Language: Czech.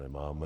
Nemáme.